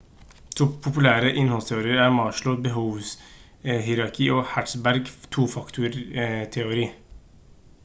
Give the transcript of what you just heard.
to populære innholdsteorier er maslows behovshierarki og hertzbergs tofaktorteori